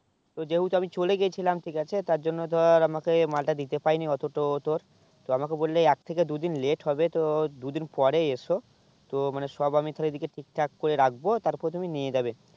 ও যেহেতু আমি চলে গেছিলাম ঠিক আছে তার জন্য ধর আমাকে মালটা দিতে পাইনি অটো তো তোর তো আমাকে বললে এক থেকে দুই দিন late হবে তো দুই দিন পর এসো তো মানে সব আমি তাকে এদিকে ঠিক ঠাক করে রাখবো তারপর তুমি নিয়ে যাবে